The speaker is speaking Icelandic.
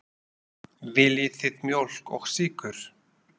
Viljið þið mjólk og sykur?